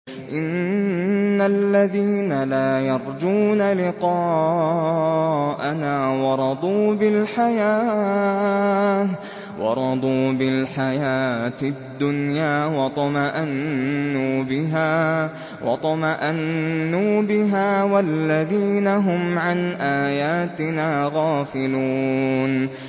إِنَّ الَّذِينَ لَا يَرْجُونَ لِقَاءَنَا وَرَضُوا بِالْحَيَاةِ الدُّنْيَا وَاطْمَأَنُّوا بِهَا وَالَّذِينَ هُمْ عَنْ آيَاتِنَا غَافِلُونَ